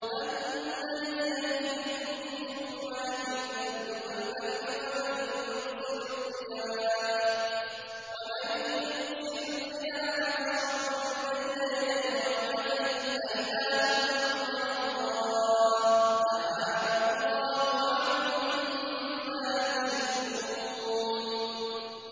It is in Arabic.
أَمَّن يَهْدِيكُمْ فِي ظُلُمَاتِ الْبَرِّ وَالْبَحْرِ وَمَن يُرْسِلُ الرِّيَاحَ بُشْرًا بَيْنَ يَدَيْ رَحْمَتِهِ ۗ أَإِلَٰهٌ مَّعَ اللَّهِ ۚ تَعَالَى اللَّهُ عَمَّا يُشْرِكُونَ